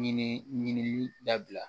Ɲini ɲinili dabila